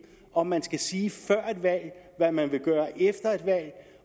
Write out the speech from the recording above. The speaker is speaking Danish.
om man skal sige før et valg hvad man vil gøre efter et valg